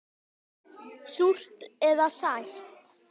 Súrt eða sætt.